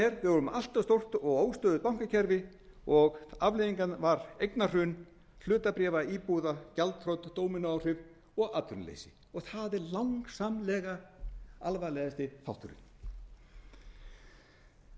er að við vorum með allt of stórt og óstöðugt bankakerfi og afleiðingin var eignahrun hlutabréfa íbúða gjaldþrot dómínóáhrif og atvinnuleysi og það er langsamlega alvarlegasti þátturinn þá